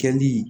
Kɛli